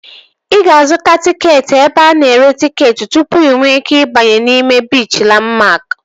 Ị ga-azụta tịketị ebe ana ere tịketị tụpụ inwe ike ịbanye n'ime biichi Landmark